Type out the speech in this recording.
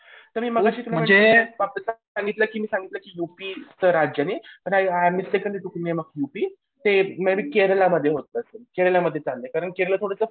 तर मी मगाशी तुम्हाला सांगितलं की सांगितलं की युपीच्या राज्याने युपी ते मी बी केरला मध्ये होत असेल. कारण केरला थोडंसं